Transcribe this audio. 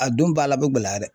A don b'a la a bɛ gɛlɛya dɛ.